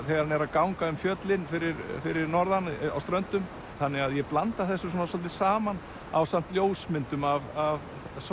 þegar hann er að ganga um fjöllin fyrir fyrir norðan á Ströndum þannig að ég blanda þessu svolítið saman ásamt ljósmyndum af